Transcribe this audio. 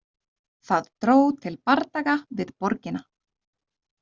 Það dró til bardaga við borgina.